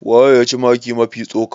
waye ya ci maki Mafi tsoka?